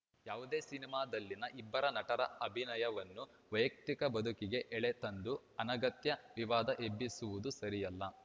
ಯಾವುದೇ ಸಿನಿಮಾದಲ್ಲಿನ ಇಬ್ಬರ ನಟರ ಅಭಿನಯವನ್ನು ವೈಯಕ್ತಿಕ ಬದುಕಿಗೆ ಎಳೆತಂದು ಅನಗತ್ಯ ವಿವಾದ ಎಬ್ಬಿಸುವುದು ಸರಿಯಲ್ಲ